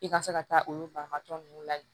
I ka se ka taa olu banabaatɔ ninnu lamin